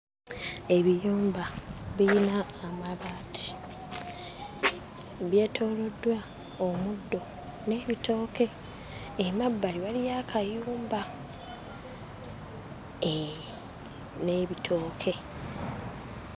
Ebiyumba biyina amabaati byetooloddwa omuddo n'ebitooke emabbali waliyo akayumba ee n'ebitooke.